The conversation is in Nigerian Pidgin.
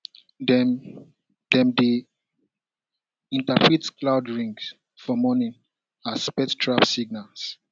dem dem dey interpret cloud rings for morning as pest trap signals